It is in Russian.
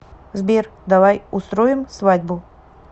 сбер давай устроим свадьбу